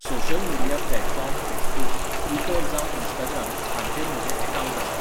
Social media platform Facebook, Twitter जावं Instagram, हांचेर म्हजे एकावंट आसात.